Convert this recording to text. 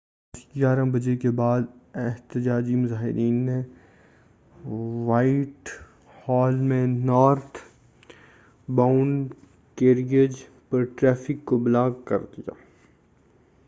بس 11:00 بجے کے بعد احتجاجی مظاہرین نے وائٹ ہال میں نارتھ باؤنڈ کیریئج پر ٹریفک کو بلاک کردیا